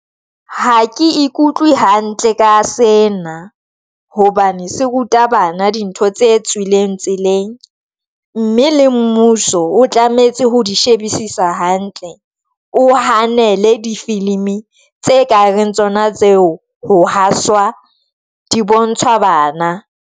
Ha ke ikutlwe hantle ka sena hobane se ruta bana dintho tse tswileng tseleng, mme le mmuso o tlametse ho di shebisisa hantle. O hanele difilimi tse ka reng tsona tseo ho haswa di bontshwa bana.